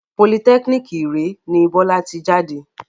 Politẹ́kínìkì Iree ni Bọ́lá ti jáde